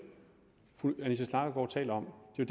fru anita knakkergaard taler om det er